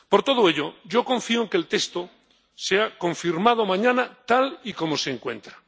Por todo ello, yo confío en que el texto sea confirmado mañana tal y como se encuentra.